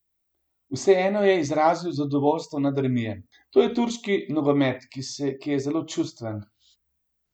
Vseeno je izrazil zadovoljstvo nad remijem: 'To je turški nogomet, ki je zelo čustven.